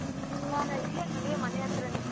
ಹ ಇಲ್ಲೇ ಮದ್ವೆ ಮನೆ ಹತ್ರನೆ.